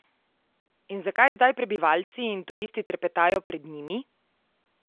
In zakaj zdaj prebivalci in turisti trepetajo pred njimi?